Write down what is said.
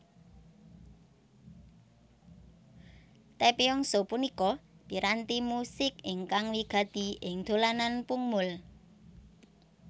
Taepyeongso punika piranti musik ingkang wigati ing dolanan pungmul